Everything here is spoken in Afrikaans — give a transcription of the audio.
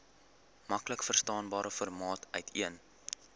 maklikverstaanbare formaat uiteen